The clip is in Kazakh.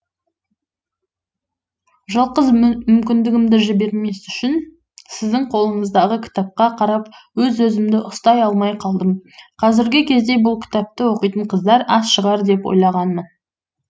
жалғыз мүмкіндігімді жібермес үшін сіздің қолыңыздағы кітапқа қарап өз өзімді ұстай алмай қалдым қазіргі кезде бұл кітапты оқитын қыздар аз шығар деп ойлағанымын